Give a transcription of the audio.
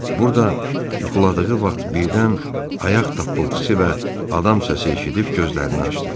Burda yuxuladığı vaxt birdən ayaq tapıltısı və adam səsi eşidib gözlərini açdı.